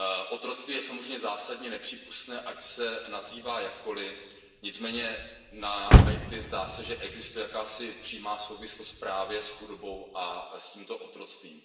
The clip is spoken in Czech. Otroctví je samozřejmě zásadně nepřípustné, ať se nazývá jakkoliv, nicméně na Haiti, zdá se, že existuje jakási přímá souvislost právě mezi chudobou a tímto otroctvím.